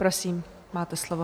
Prosím, máte slovo.